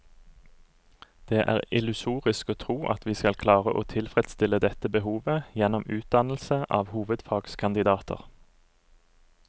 Det er illusorisk å tro at vi skal klare å tilfredsstille dette behovet gjennom utdannelse av hovedfagskandidater.